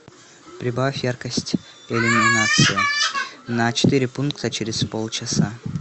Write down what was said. прибавь яркость иллюминации на четыре пункта через полчаса